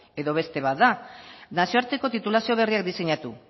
edo beste bat da nazioarteko titulazio berria diseinatu